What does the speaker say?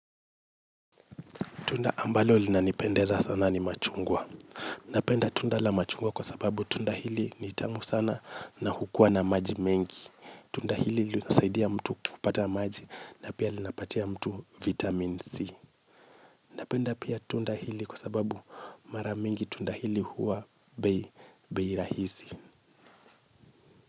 Tunda ambalo linanipendeza sana ni machungwa. Napenda tunda la machungwa kwa sababu tunda hili ni tamu sana na hukua na maji mengi. Tunda hili lisaidia mtu kupata maji na pia linapatia mtu vitamin C. Napenda pia tunda hili kwa sababu mara mingi tunda hili huwa bei rahisi.